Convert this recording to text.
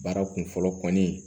Baara kun fɔlɔ kɔni